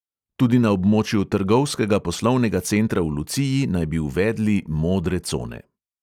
Tudi na območju trgovskega poslovnega centra v luciji naj bi uvedli modre cone.